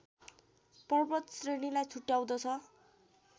पर्वत श्रेणीलाई छुट्याउँदछ